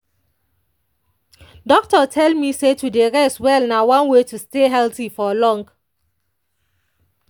doctor tell me say to dey rest well na one way to stay healthy for long.